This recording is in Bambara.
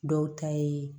Dɔw ta ye